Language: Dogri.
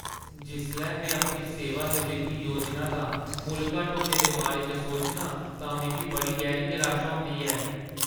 जिसलै में अपनी सेवानिवृत्ति योजना दा मुल्ल घट्ट होने दे बारे च सोचनां तां मिगी बड़ी गैहरी निराशा होंदी ऐ।